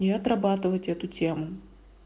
и отрабатывать эту тему